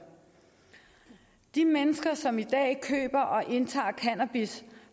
de mennesker som i dag køber og indtager cannabis